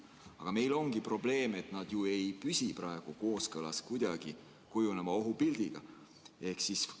Aga meil ongi probleem, et nad praegu kohe kuidagi ei püsi kooskõlas kujuneva ohupildiga.